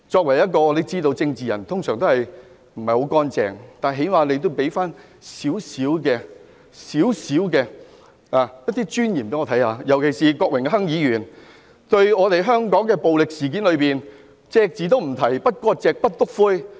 我們知道，作為政治人物通常不是很乾淨，但最低限度讓我看到一點尊嚴，尤其是郭榮鏗議員對近來香港發生的暴力事件隻字不提，不割席、不"篤灰"。